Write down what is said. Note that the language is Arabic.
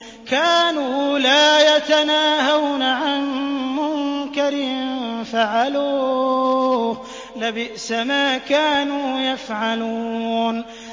كَانُوا لَا يَتَنَاهَوْنَ عَن مُّنكَرٍ فَعَلُوهُ ۚ لَبِئْسَ مَا كَانُوا يَفْعَلُونَ